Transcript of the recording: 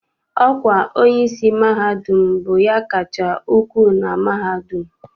Ọkwa onyeisi mahadum bụ ya kacha ukwu na mahadum.